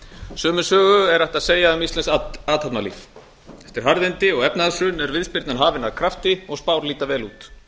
sömu sögu er hægt að segja um íslenskt athafnalíf eftir harðindi og efnahagshrun er viðspyrnan hafin af krafti og spár líta vel út